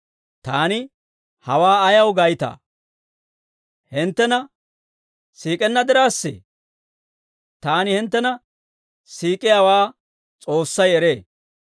Taani hawaa ayaw gaytaa? Hinttena siik'enna diraassee? Taani hinttena siik'iyaawaa S'oossay eree.